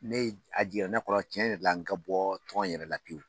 Ne ye a jiginna ne kɔnɔ cɛn yɛrɛ la n ka bɔ tɔn yɛrɛ la pewu